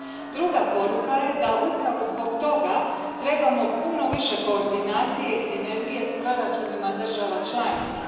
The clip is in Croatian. Druga poruka je da upravo zbog toga trebamo puno više koordinacije i sinergije s proračunima država članica.